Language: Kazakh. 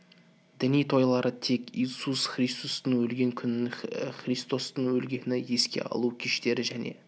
діни тойлары тек иисус христостың өлген күнін христостың өлгенін еске алу кештері және